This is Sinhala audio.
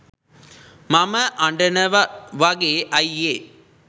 මම අඩනව වගේ අයියේ